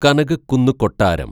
കനകക്കുന്ന് കൊട്ടാരം